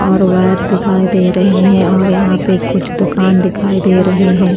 और वायर दिखाई दे रहे हैं और यहां पे कुछ दुकान दिखाई दे रहे हैं।